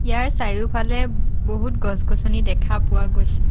ইয়াৰ চাৰিওফালে বহুত গছ-গছনি দেখা পোৱা গৈছে।